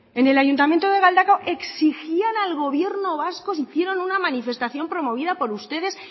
en el ayuntamiento de galdakao exigían al gobierno vasco si hicieron una manifestación promovida por ustedes